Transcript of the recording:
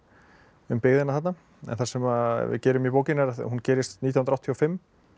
um byggðina þarna en það sem við gerum í bókinni að hún gerist nítján áttatíu og fimm